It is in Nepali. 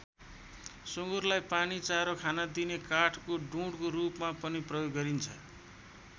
सँगुरलाई पानी चारो खाना दिने काठको डुँढको रूपमा पनि प्रयोग गरिन्छ।